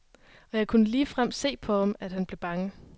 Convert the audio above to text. Og jeg kunne ligefrem se på ham, at han blev bange.